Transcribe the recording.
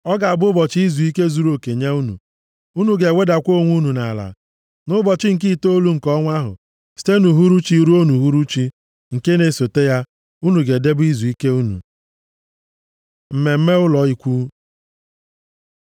Ọ ga-abụ ụbọchị izuike zuruoke nye unu, unu ga-ewedakwa onwe unu nʼala. Nʼụbọchị nke itoolu nke ọnwa ahụ, site nʼuhuruchi ruo nʼuhuruchi nke na-esote ya, unu ga-edebe izuike unu.” Mmemme Ụlọ Ikwu